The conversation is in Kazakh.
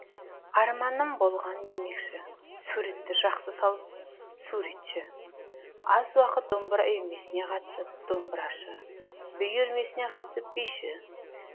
арманым болған демекші суретті жақсы салып суретші аз уақыт домбыра үйірмесіне қатысып домбырашы би үйірмесіне қатысып биші